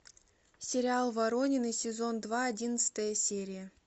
сериал воронины сезон два одиннадцатая серия